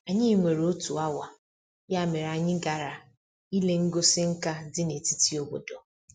Anyị nwere otu awa, ya mere anyị gara ile ngosi nka dị na-etiti obodo.